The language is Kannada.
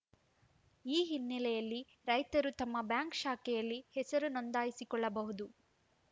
ಈ ಹಿನ್ನೆಲೆಯಲ್ಲಿ ರೈತರು ತಮ್ಮ ಬ್ಯಾಂಕ್‌ ಶಾಖೆ ಯಲ್ಲಿ ಹೆಸರು ನೋಂದಾಯಿಸಿಕೊಳ್ಳಬಹುದು